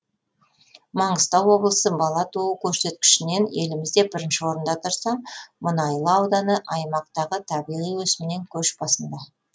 маңғыстау облысы бала туу көрсеткішінен елімізде бірінші орында тұрса мұнайлы ауданы аймақтағы табиғи өсімнен көш басында